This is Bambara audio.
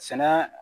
Sɛnɛ